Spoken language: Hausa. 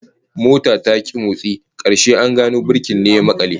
Motar ta ki motsi, karshe an gano birki ne ya makale